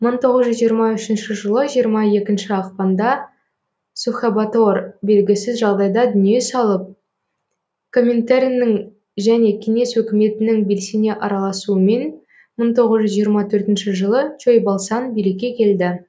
мың тоғыз жүз жиырма үшінші жылы жиырма екінші ақпанда сухэбатор белгісіз жағдайда дүние салып коминтерннің және кеңес өкіметінің белсене араласуымен мың тоғыз жүз жиырма төртінші жылы чойбалсан билікке келді